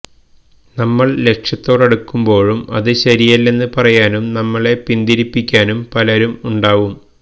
നമ്മള് ലക്ഷ്യത്തോടടുക്കുമ്പോഴും അത് ശരിയല്ലെന്ന് പറയാനും നമ്മളെ പിന്തിരിപ്പിക്കാനും പലരും ഉണ്ടാവും